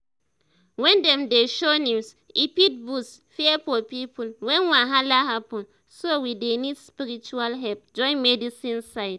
when dem dey show news e fit boost fear for people when wahala happen so we dey need spiritual help join medicine side.